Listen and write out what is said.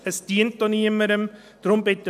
Dies dient auch niemanden.